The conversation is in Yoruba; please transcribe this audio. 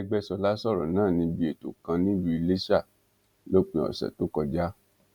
arẹgbẹsọla sọrọ náà níbi ètò kan nílùú iléṣà lópin ọsẹ tó kọjá